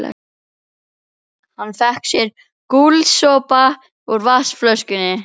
Hann fékk sér gúlsopa úr vatnsflöskunni.